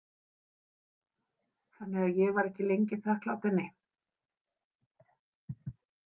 Þannig að ég var ekki lengi þakklát henni.